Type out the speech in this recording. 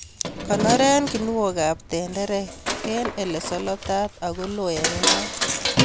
Konoren kinuokab tenderek en ilesolotat ako loo en inat.